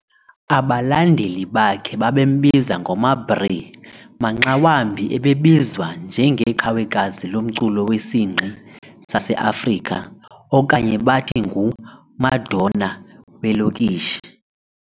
Abalandeli bakhe bebembiza ngoMaBrrr, "maxa wambi ubebizwa njengeqhawekazi lomculo wesingqi saseAfrika" okanye bathi ngu"Madonna weelokishi".